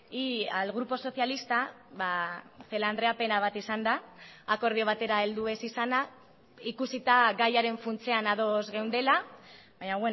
y al grupo socialista celaá andrea pena bat izan da akordio batera heldu ez izana ikusita gaiaren funtsean ados geundela baina